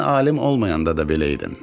Sən alim olmayanda da belə idin.